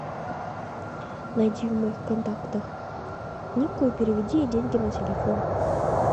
найди в моих контактах нику и переведи ей деньги на телефон